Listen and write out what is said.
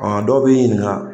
Ɔn dɔw b'i ɲininka